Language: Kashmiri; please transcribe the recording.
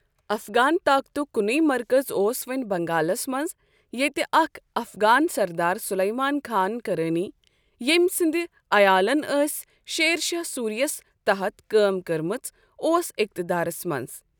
افغان طاقتُک کُنے مرکز اوس وۄنۍ بنگالس منٛز، یتہٕ اکھ افغان سردار سُلیمان خان کرانی، ییٚمۍ سٕنٛدۍ عیالن ٲس شیر شاہ سوری یَس تحَت کٲم کٔرمٕژ اوس اقتدارس منٛز۔